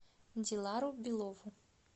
дилару белову